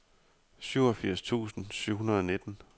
syvogfirs tusind syv hundrede og nitten